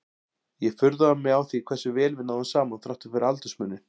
Ég furðaði mig á því hversu vel við náðum saman þrátt fyrir aldursmuninn.